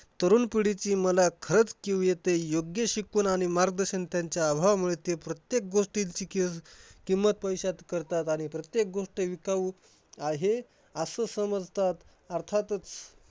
तरुण पिढीची मला खरंच कीव येते. योग्य शिकवण आणि मार्गदर्शन त्याच्या अभावामुळे ते प्रत्येक गोष्टी फिकीर किंमत पैशात करतात आणि प्रत्येक गोष्ट विकाऊ आहे असं समजतात. अर्थातच